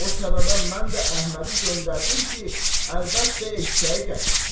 O səbəbə mən də Əhmədi göndərdim ki, əlbəttə, eşşəyi gətirsin.